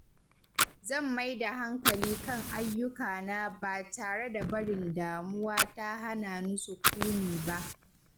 Zan mai da hankali kan ayyukana ba tare da barin damuwa ta hana ni sukuni ba.